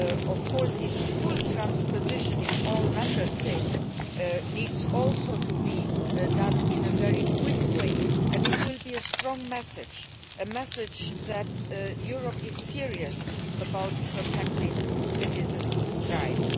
Of course its full transposition in all Member States also needs to be done in a very quick way and it will be a strong message, a message that Europe is serious about protecting citizens' rights.